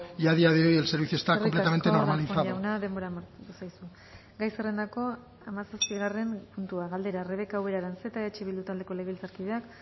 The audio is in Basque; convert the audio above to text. y a día de hoy el servicio está completamente normalizado eskerrik asko darpón jauna denbora amaitu zaizu gai zerrendako hamazazpigarren puntua galdera rebeka ubera aranzeta eh bildu taldeko legebiltzarkideak